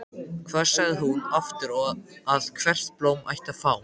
Hvað sagði hún aftur að hvert blóm ætti að fá?